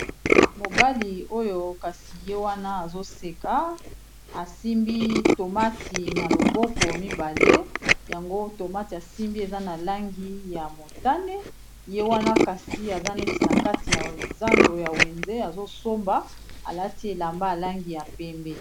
Mobali oyo kasi ye wana azoseka asimbi tomati na loboko mibale yango tomati asimbi eza na langi ya motane ye wana kasi aza neti na kati ya zando ya wenze azosomba alati elamba alangi ya pembe